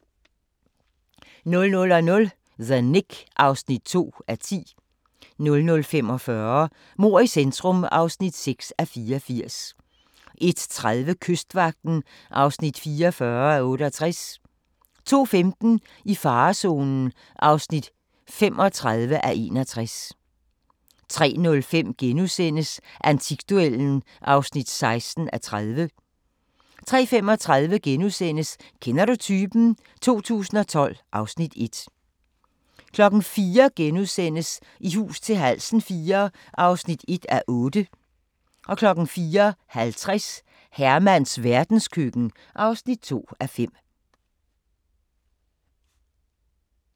00:00: The Knick (2:10) 00:45: Mord i centrum (6:84) 01:30: Kystvagten (44:68) 02:15: I farezonen (35:61) 03:05: Antikduellen (16:30)* 03:35: Kender du typen? 2012 (Afs. 1)* 04:00: I hus til halsen IV (1:8)* 04:50: Hermans verdenskøkken (2:5)